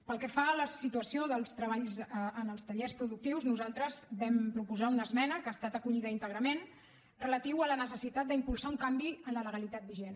pel que fa a la situació dels treballs en els tallers productius nosaltres vam proposar una esmena que ha estat acollida íntegrament relativa a la necessitat d’impulsar un canvi en la legalitat vigent